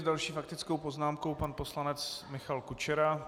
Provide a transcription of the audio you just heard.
S další faktickou poznámkou pan poslanec Michal Kučera.